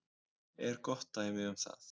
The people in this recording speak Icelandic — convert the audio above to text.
er gott dæmi um það.